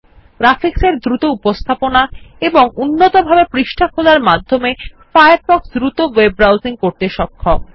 graphics এর দ্রুত উপস্থাপনা এবং উন্নতভাবে পৃষ্ঠা খোলার মধ্যে ফায়ারফক্স দ্রুত ওয়েব ব্রাউসিং করাতে সক্ষম